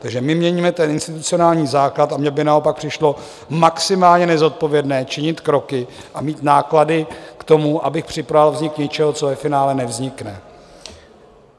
Takže my měníme ten institucionální základ a mně by naopak přišlo maximálně nezodpovědné činit kroky a mít náklady k tomu, abych připravoval vznik něčeho, co ve finále nevznikne.